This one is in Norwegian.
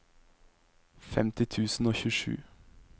femti tusen og tjuesju